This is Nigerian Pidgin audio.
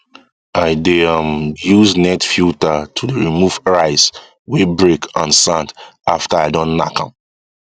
i dey um use net filter to dey remove rice wey break and sand after i don knack am